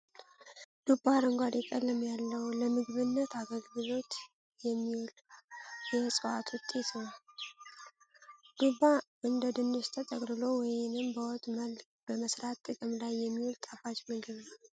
ዱባ አረንጓዴ ቀለም ያለው ለምግብነት አገልግሎት የሚውል የእፅዋት ውጤት ነው። ዱባ እንደ ድንች ተቀቅሎ ወይንም በወጥ መልክ በመሰራት ጥቅም ላይ የሚውል ጣፋጭ ምግብ ነው።